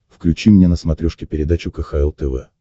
включи мне на смотрешке передачу кхл тв